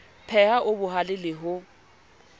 pheha o bohale le ho